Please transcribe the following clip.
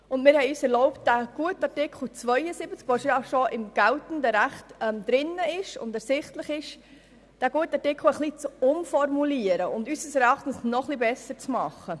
Wir haben uns erlaubt, diesen Artikel, der im geltenden Recht bereits enthalten ist, umzuformulieren und damit unseres Erachtens zu verbessern.